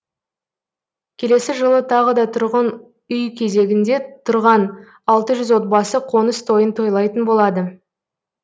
келесі жылы тағы да тұрғын үй кезегінде тұрған алты жүз отбасы қоныс тойын тойлайтын болады